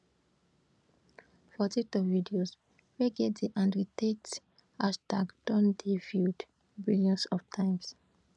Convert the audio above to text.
for tiktok videos wey get di andrew tate hashtag don dey viewed billions of times